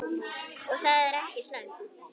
Og það er ekki slæmt.